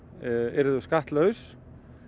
yrðu skattlaus